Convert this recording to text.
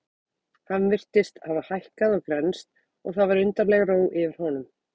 Hann virtist hafa hækkað og grennst og það var undarleg ró yfir honum.